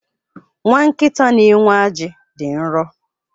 Nwa nkịta nxenwe aji dị nro.